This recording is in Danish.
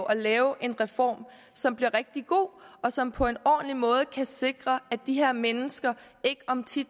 at lave en reform som bliver rigtig god og som på en ordentlig måde kan sikre at de her mennesker ikke om ti